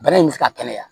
Bana in bɛ se ka kɛnɛya